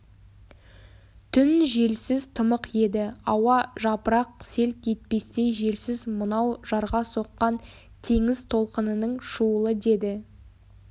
түн желсіз тымық еді ауа жапырақ селт етпестей желсіз мынау жарға соққан теңіз толқынының шуылы деді